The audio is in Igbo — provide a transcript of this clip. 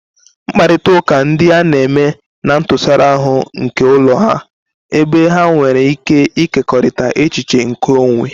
Mkparịta ụka ndị a na-eme na ntụsara ahụ nke ụlọ ha, ebe ha nwere ike ịkekọrịta echiche nke onwe.